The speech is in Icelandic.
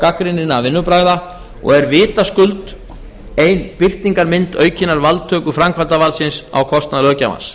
gagnrýninna vinnubragða og er vitaskuld ein birtingarmynd aukinnar valdtöku framkvæmdarvaldsins á kostnað löggjafans